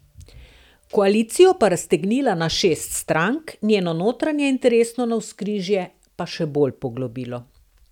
Koalicijo pa raztegnila na šest strank, njeno notranje interesno navzkrižje pa še bolj poglobilo.